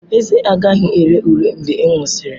Ezé agaghị ere ure mgbe ị nwụsịrị.